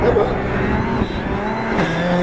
Tá bom.